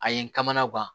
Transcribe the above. A ye n kamana gan